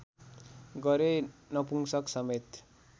गरे नपुंशक समेत